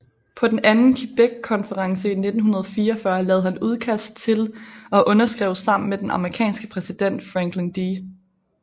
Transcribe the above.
På den Anden Quebeckonference i 1944 lavede han udkast til og underskrev sammen med den amerikanske præsident Franklin D